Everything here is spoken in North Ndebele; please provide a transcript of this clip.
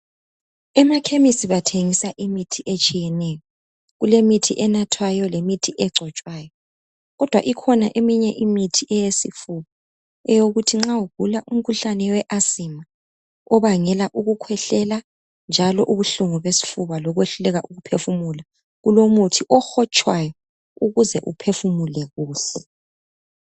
Emakhemisi bathengisa imithi etshiyeneyo kulemithi enathwayo lemithi egcotshwayo. Kodwa ikhona eminye imithi eyesifuba eyokuthi nxa ugula umkhuhlane we asima obangela ukukhwehlela njalo ubuhlungu besifuba lokwehluleka ukuphefumula, ukhona umuthi ohotshwayo ukuze uphefumule kuhle.